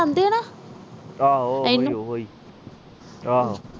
ਆਹੋ ਆਹੋ